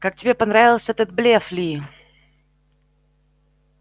как тебе понравился этот блеф ли